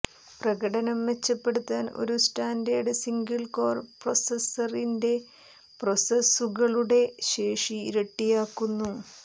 പ്രകടനം മെച്ചപ്പെടുത്താൻ ഒരു സ്റ്റാൻഡേർഡ് സിംഗിൾ കോർ പ്രൊസസ്സറിന്റെ പ്രോസസ്സുകളുടെ ശേഷി ഇരട്ടിയാക്കുന്നു